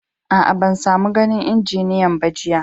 Aa, ban samo ganin injiniyan ba jiya.